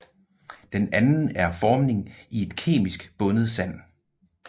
Den anden er formning i et kemisk bundet sand